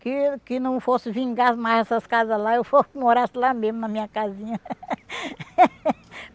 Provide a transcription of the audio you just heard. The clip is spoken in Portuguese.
Que que não fosse vingar mais essas casas lá, eu fosse morasse lá mesmo na minha casinha.